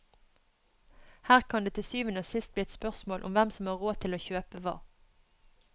Her kan det til syvende og sist bli et spørsmål om hvem som har råd til å kjøpe hva.